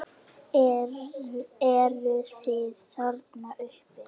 Eruð þið þarna uppi!